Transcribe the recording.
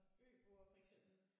Der er en øboer for eksempel